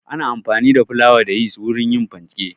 Ana amfani da flawa da yist wurin yin fanke.